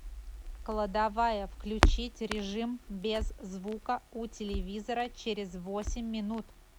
кладовая включить режим без звука у телевизора через восемь минут